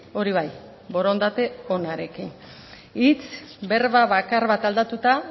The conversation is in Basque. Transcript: hori bai borondate onarekin hitz berba bakar bat aldatuta